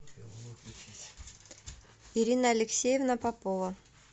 ирина алексеевна попова